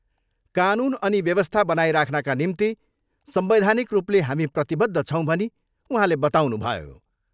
कानुन अनि व्यवस्था बनाइराख्नका निम्ति संवैधानिक रूपले हामी प्रतिबद्ध छौँ भनी उहाँले बताउनुभयो।